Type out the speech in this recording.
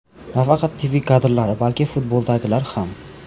Nafaqat TV kadrlari, balki futboldagilar ham.